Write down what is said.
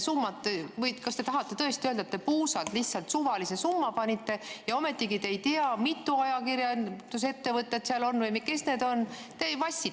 Kas te tõesti tahate öelda, et panite puusalt lihtsalt suvalise summa ja te ei tea, mitu ajakirjandusettevõtet seal on või kes need on?